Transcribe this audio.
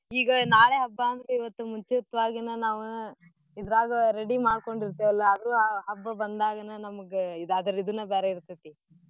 ಈಗ ನಾಳೇ ಹಬ್ಬಾ ಅಂದ್ರ ಇವತ್ತ ಮುಂಚಿತ್ವಾಗೇನ ನಾವೂ ಇದ್ರಾಗ ready ಮಾಡ್ಕೊಂಡ್ ಇರ್ತಿವೆಲ್ಲಾ ಆದ್ರೂ ಆ ಹಬ್ಬಾ ಬಂದಾಗ್ನ ನಮ್ಗ್ ಇದ್ ಅದ್ರ ಇದ್ನ ಬ್ಯಾರೇ ಇರ್ತೇತಿ .